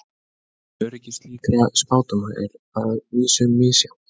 Öryggi slíkra spádóma er að vísu misjafnt.